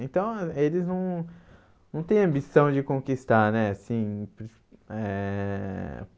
Então, ah eles não não têm ambição de conquistar, né? Assim eh